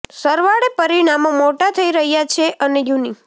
સરવાળે પરિણામો મોડા થઈ રહ્યા છે અને યુનિ